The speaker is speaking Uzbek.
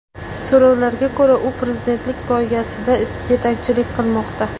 So‘rovlarga ko‘ra, u prezidentlik poygasida yetakchilik qilmoqda.